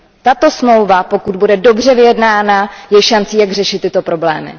Tato smlouva, pokud bude dobře vyjednána, je šancí, jak řešit tyto problémy.